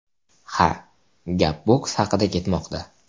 Ha, gap boks haqida ketmoqda.